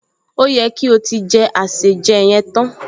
Ó yẹ kí o ti jẹ àsèjẹ yẹn tán